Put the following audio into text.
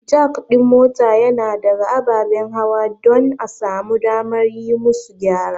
Jack ɗin mota yana ɗaga ababen hawa don a samu damar yi musu gyara.